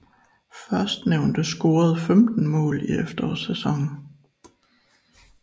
Førstnævnte scorede 15 mål i efterårssæsonen